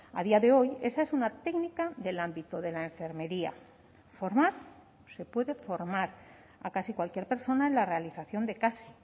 a día de hoy esa es una técnica del ámbito de la enfermería formar se puede formar a casi cualquier persona en la realización de casi